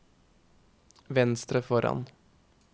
venstre foran